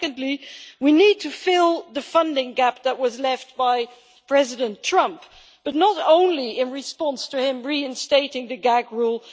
Secondly, we need to fill the funding gap that was left by President Trump, but not only in response to him reinstating the gag rule.